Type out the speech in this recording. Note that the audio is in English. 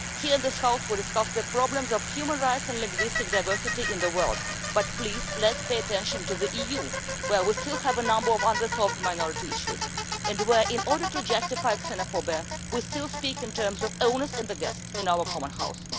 Here in this House we discuss the problems of human rights and linguistic diversity in the world, but please, let us pay attention to the EU where we still have a number of unresolved minority issues and where, in order to justify xenophobia, we still speak in terms of owners and the guest in our common house.